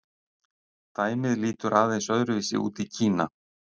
Dæmið lítur aðeins öðru vísi út í Kína.